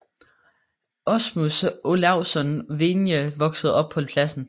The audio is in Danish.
Aasmund Olavsson Vinje voksede op på Plassen